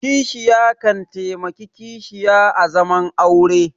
Kishiya kan taimaki kishiya a zaman aure